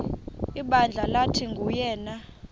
ibandla lathi nguyena